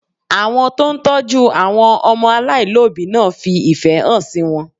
Àwọn tó ń tọ́jú àwọn ọmọ aláìlóbìí náà fi ìfẹ́ hàn sí wọn